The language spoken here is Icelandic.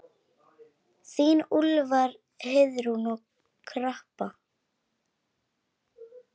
Þín Úlfar, Heiðrún og Harpa.